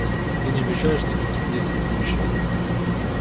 ты не обещаешь никаких действий в будущем